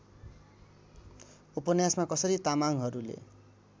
उपन्यासमा कसरी तामाङहरूले